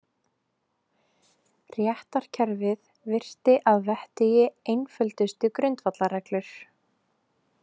Réttarkerfið virti að vettugi einföldustu grundvallarreglur.